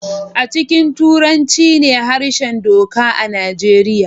A cikin Turanci ne harshen doka a Nijeriya